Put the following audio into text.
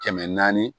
Kɛmɛ naani